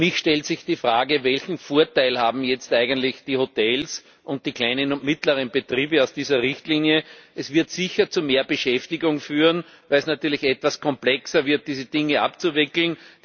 Für mich stellt sich die Frage, welchen Vorteil haben jetzt eigentlich die Hotels und die kleinen und mittleren Betriebe von dieser Richtlinie. Sie wird sicher zu mehr Beschäftigung führen, weil es natürlich etwas komplexer wird, diese Dinge abzuwickeln.